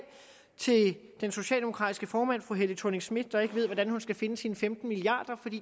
til den socialdemokratiske formand fru helle thorning schmidt der ikke ved hvordan hun skal finde sine femten milliarder